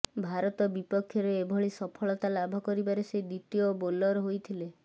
ଭାରତ ବିପକ୍ଷରେ ଏଭଳି ସଫଳତା ଲାଭ କରିବାରେ ସେ ଦ୍ୱିତୀୟ ବୋଲର ହୋଇଥିଲେ